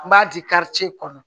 N b'a di kɔnɔ